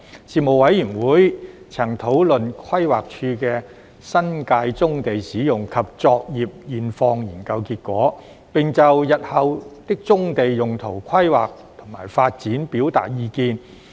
事務委員會曾討論規劃署的新界棕地使用及作業現況研究結果，並就日後的棕地用途規劃及發展表達意見。